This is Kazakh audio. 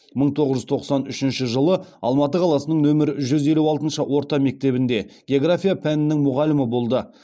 мың тоғыз жүз тоқсан үшінші жылы алматы қаласының нөмр жүз елу алтыншы орта мектебінде география пәнінің мұғалімі болды